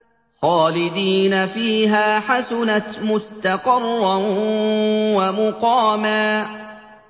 خَالِدِينَ فِيهَا ۚ حَسُنَتْ مُسْتَقَرًّا وَمُقَامًا